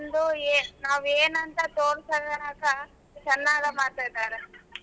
ನಾವ್ ಏನ್ ಅಂತ ತೋರಸ್ ಅದಕ ಚೆನ್ನಾಗ ಮಾತಾಡ್ತಾರ.